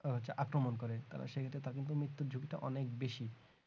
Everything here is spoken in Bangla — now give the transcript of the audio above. হচ্ছে আক্রমণ করে তারা সেইটা তা কিন্তু মৃত্যুর ঝুঁকিটা অনেক বেশি